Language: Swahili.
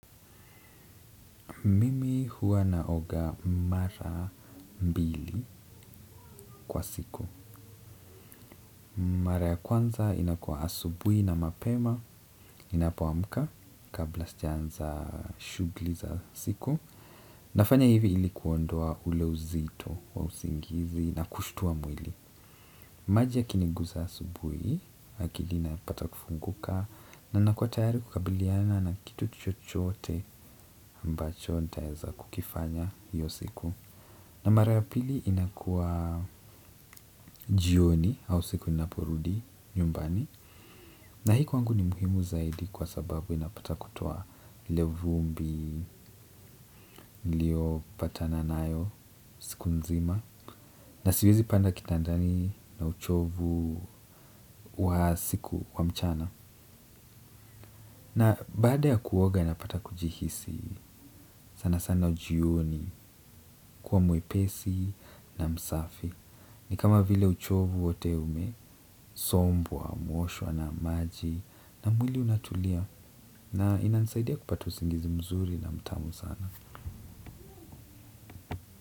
Mimi huwa naoga mara mbili kwa siku. Mara ya kwanza inakua asubui na mapema ninapoamka kabla sija anza shugli za siku. Nafanya hivi ilikuondua ule uzito wa usingizi na kushitua mwili. Maji yakiniguza asubui, akili inapata kufunguka na nakua tayari kukabiliana na kitu chochoote ambacho nitaeza kukifanya hiyo siku. Na mara ya pili inakua jioni au siku ninaporudi nyumbani. Na hii wangu ni muhimu zaidi kwa sababu inapata kutoa ile vumbi nilio patana nayo siku nzima. Na siwezi panda kitandani na uchovu wa siku wa mchana. Na baada ya kuoga napata kujihisi sana sana jioni kuwa mwepesi na msafi. Ni kama vile uchovu wote umesombwa mwoshwa na maji na mwili unatulia na inanisaidia kupata usingizi mzuri na mtamu sana.